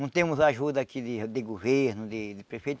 Não temos ajuda aqui de de governo, de de prefeito.